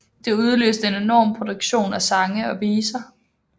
Det udløste en enorm produktion af sange og viser